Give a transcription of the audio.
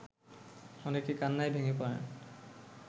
অনেকে কান্নায় ভেঙে পড়েন